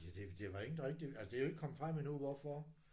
Ja det det var ingen der rigtig altså det er ikke kommet frem endnu hvorfor